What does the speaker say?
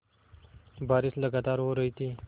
बारिश लगातार हो रही थी